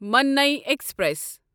ماننٕے express